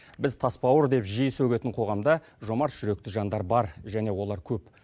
біз тасбауыр деп жиі сөгетін қоғамда жомарт жүректі жандар бар және олар көп